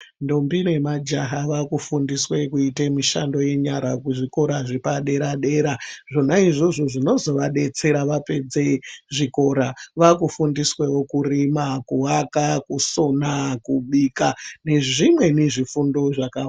Ndombi nemajaha vaakufundiswe kuite mishando yenyara kuzvikora zvepaderadera zvona izvozvo zvinozovadetsera vapedze zvikora vaakufundiswewo kurima, kuaka, kusona, kubika, nezvimweni zvifundo zvakawanda.